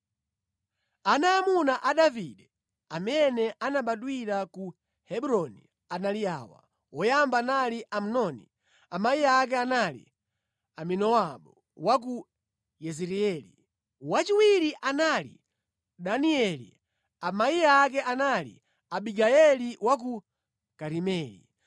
Ana aamuna a Davide amene anabadwira ku Hebroni anali awa: Woyamba anali Amnoni, amayi ake anali Ahinoamu wa ku Yezireeli; wachiwiri anali Danieli, amayi ake anali Abigayeli wa ku Karimeli;